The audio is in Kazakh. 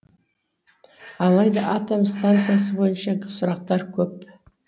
алайда атом станциясы бойынша сұрақтар көп